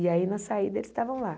E aí, na saída, eles estavam lá.